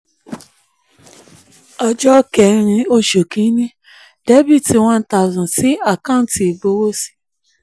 ọjọ́ ọjọ́ kẹ́rin oṣù kìíní: debit one thousand sí àkáǹtì ìgbowósí